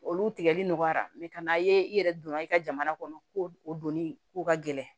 Olu tigɛli nɔgɔyara ka na ye i yɛrɛ donna i ka jamana kɔnɔ ko o donni ko ka gɛlɛn